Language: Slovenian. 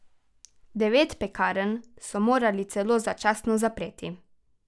Devet pekarn so morali celo začasno zapreti.